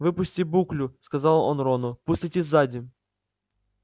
выпусти буклю сказал он рону пусть летит сзади